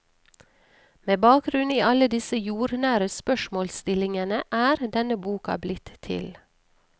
Med bakgrunn i alle disse jordnære spørsmålsstillingene er denne boka blitt til.